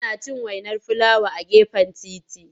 Suna cin wainar filawa a gefen titi.